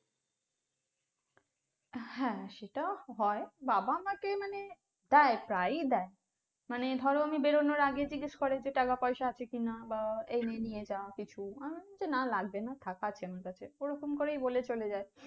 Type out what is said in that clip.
হ্যাঁ সেটাও হয়। বাবা আমাকে মানে প্রায় প্রায়ই দেয়। মানে ধরো আমি বেরোনোর আগে জিজ্ঞেস করে যে টাকাপয়সা আছে কিনা বা এই নে নিয়ে যা কিছু, আহ আমার, না লাগবে না থাক আছে আমার কাছে ঐ রকম করেই বলে চলে যায়